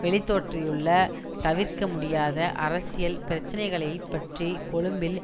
வெளித்தோற்றியுள்ள தவிர்க்க முடியாத அரசியல் பிரச்சினைகளை பற்றி கொழும்பில்